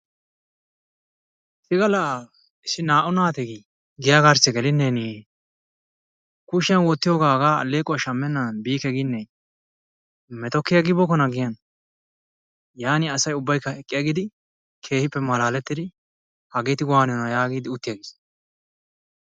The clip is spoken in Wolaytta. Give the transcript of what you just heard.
hega la issi naa''u naati giyaa garssi geline kushiyaan wottiyooga hegaa allequwaa shammenan biike gine meto ki agibookona giyan. yaanin asaa ubbaykka eqqi aggidi keehippe malaalettidi, hageeti wanniyoona yaagidi utti aggiis.